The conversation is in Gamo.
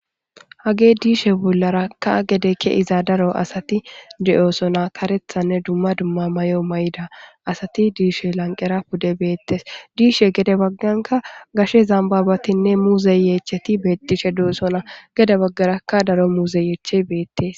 hage diishe bollarakka gedekke iza daro asati de7oosona karethanne dumma dumma may7o may7ida asati diishe lanqera pude beettes diishe gede bagganka gashe zambabatinne muuze yeecheti beettishe deosona gede baggarakka daro muuze yeeche beettes